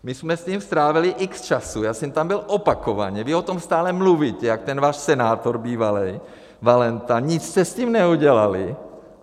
My jsme s tím strávili x času, já jsem tam byl opakovaně, vy o tom stále mluvíte, jak ten váš senátor bývalej, Valenta, nic jste s tím neudělali.